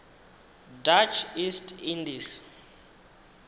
dutch east indies